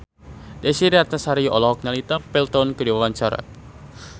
Desy Ratnasari olohok ningali Tom Felton keur diwawancara